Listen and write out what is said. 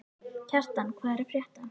Kjartan, hvað er að frétta?